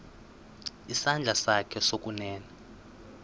isandla sakho sokunene